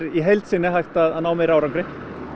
í heild sinni er hægt að ná meiri árangri